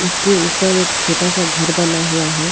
उसके ऊपर एक छोटा सा घर बना हुआ है।